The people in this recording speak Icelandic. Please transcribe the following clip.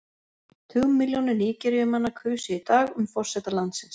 Tugmilljónir Nígeríumanna kusu í dag um forseta landsins.